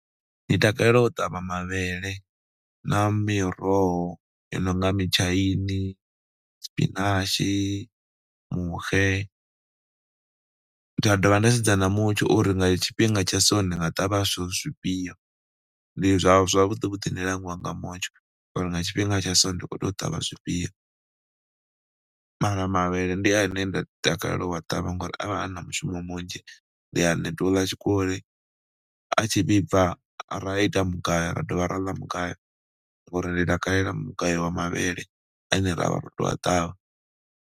Ndi takalela u ṱavha mavhele na miroho i no nga mitshaini, tshipinatsgi, muxe, nda dovha nda sedza na mutsho uri nga tshifhinga tsha so ndi nga ṱavha zwithu zwifhio. Ndi zwa zwavhuḓi vhuḓi ni langiwa nga mutsho uri nga tshifhinga tsha so ndi khou tea u ṱavha zwifhio mara mavhele ndi ane nda takalela u ṱavha ngori a vha a na mushumo munzhi, ndi a neta u ḽa tshikoli, a tshi vhibva ra ita mugayo ra dovha ra ḽa mugayo ngori ndi takalela mugayo wa mavhele ane ra vha ro tou a ṱavha.